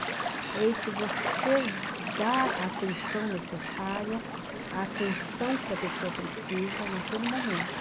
É esse você dar a atenção necessária, a atenção que a pessoa precisa naquele momento.